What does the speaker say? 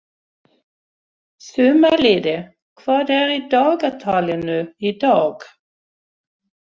Sumarliði, hvað er í dagatalinu í dag?